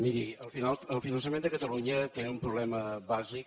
miri el finançament de catalunya té un problema bàsic